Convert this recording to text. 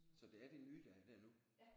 Så det er de nye der er der nu?